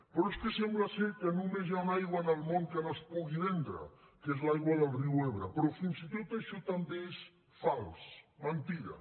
però és que sembla que només hi ha una aigua en el món que no es pugui vendre que és l’aigua del riu ebre però fins i tot això també és fals mentida